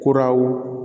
Kuraw